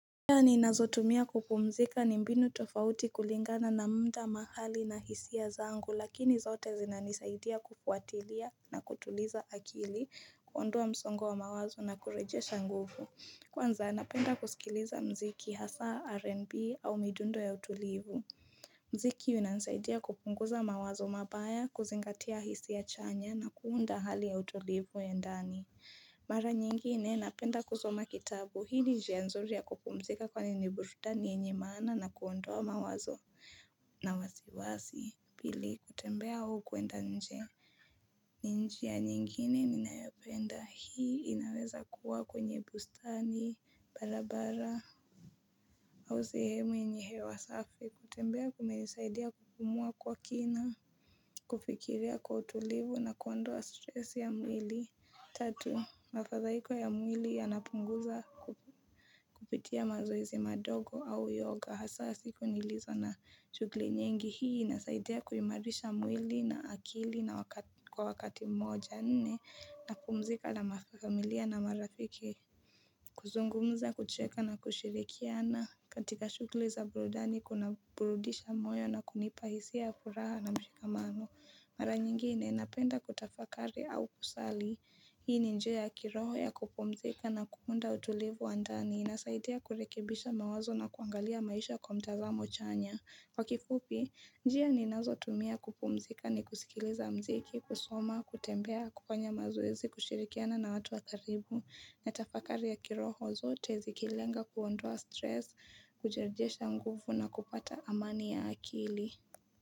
Njia ni nazotumia kupumzika ni mbinu tofauti kulingana na muda mahali na hisia zangu lakini zote zinanisaidia kufuatilia na kutuliza akili kuondoa msongo wa mawazo na kureje shanguvu. Kwanza napenda kusikiliza mziki hasa R&B au midundo ya utulivu. Mziki unasaidia kupunguza mawazo mabaya, kuzingatia hisia chanya na kuunda hali ya utulivu endani. Mara nyingine, napenda kusoma kitabu. Hii ni njianzuri ya kukumzika kwa ni nibururani yenye maana na kuondoa mawazo na wasiwasi. Pili, kutembea au kuenda nje. Ninjia nyingine ni nayopenda. Hii inaweza kuwa kwenye bustani, barabara, au sehemu yenye hewa safi. Kutembea kunanisaidia kukumua kwa kina, kufikiria kwa utulivu na kuondoa stressi ya mwili. Tatu, mafadhaiko ya mwili ya napunguza kupitia mazoezi madogo au yoga. Hasa siku nilizo na shugli nyingi hii na saidia kuimarisha mwili na akili na kwa wakati moja nne na kumzika na mafakamilia na marafiki. Kuzungumza, kucheka na kushirikiana katika shugli za burudani kuna burudisha moyo na kunipahisia furaha na mshika mano. Mara nyingine inapenda kutafakari au kusali. Hii ni njia ya ya kiroho ya kupumzika na kuunda utulivu wa ndani. Inasaidea kurekebisha mawazo na kuangalia maisha kwa mtazamo chanya. Kwa kifupi, njia ni nazo tumia kupumzika ni kusikiliza mziki, kusoma, kutembea, kufanya mazoezi, kushirikiana na watu wa karibu. Na tafakari ya kiroho zote zikilenga kuondua stress, kujarijesha nguvu na kupata amani ya akili.